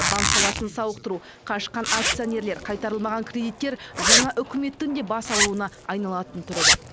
банк саласын сауықтыру қашқан акционерлер қайтарылмаған кредиттер жаңа үкіметтің де бас ауруына айналатын түрі бар